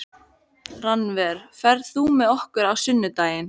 Rannver, ferð þú með okkur á sunnudaginn?